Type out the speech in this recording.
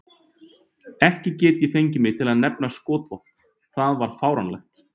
Ég gat ekki fengið mig til að nefna skotvopn, það var of fáránlegt.